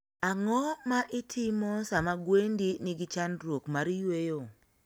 Ang'o ma itimo sama gwendi nigi chandruok mar yweyo?